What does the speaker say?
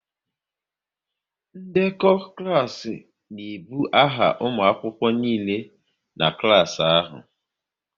Ndekọ klas n'ebu aha ụmụ akwụkwọ niile nọ n'klas ahụ